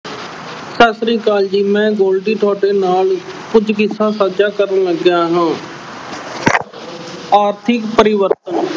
ਸਤਿ ਸ੍ਰੀ ਅਕਾਲ ਜੀ ਮੈਂ Goldy ਤੁਹਾਡੇ ਨਾਲ ਕੁੱਝ ਕਿੱਸਾ ਸਾਂਝਾ ਕਰਨ ਲੱਗਿਆ ਹਾਂ ਆਰਥਿਕ ਪਰਿਵਰਤਨ